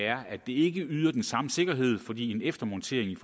er at det ikke yder den samme sikkerhed fordi en eftermontering